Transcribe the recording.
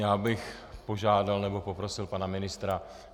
Já bych požádal nebo poprosil pana ministra .